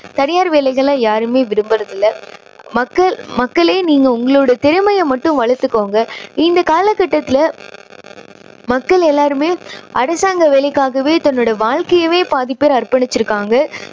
தனியார் வேலைகளை யாருமே விரும்புறது இல்லை. மக்க~மக்களே நீங்க உங்களோட திறமையை மட்டும் வளர்த்துக்கோங்க. இந்தக் காலக்கட்டத்துல மக்கள் எல்லாருமே அரசாங்க வேலைக்காகவே தன்னுடைய வாழ்க்கையவே பாதி பேர் அர்ப்பணிச்சுருக்காங்க.